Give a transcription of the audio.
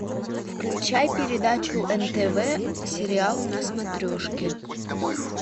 включай передачу нтв сериал на смотрешке